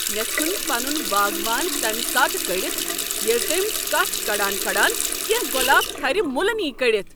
مےٚ ژھن پنن باغوان تمی ساتہٕ کٔڑتھ ییٚلہ تٔمۍ کچھ کڈان کڈان کینٛہہ گۄلابہٕ تھر تہ موٗلہ نیہ کٔڈتھ۔